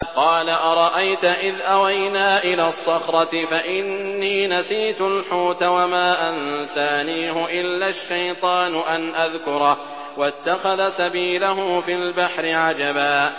قَالَ أَرَأَيْتَ إِذْ أَوَيْنَا إِلَى الصَّخْرَةِ فَإِنِّي نَسِيتُ الْحُوتَ وَمَا أَنسَانِيهُ إِلَّا الشَّيْطَانُ أَنْ أَذْكُرَهُ ۚ وَاتَّخَذَ سَبِيلَهُ فِي الْبَحْرِ عَجَبًا